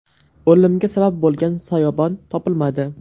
O‘limga sabab bo‘lgan soyabon topilmadi.